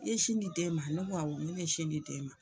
I ye sin di den ma ne ko awɔ n ko ne ye sin di den ma.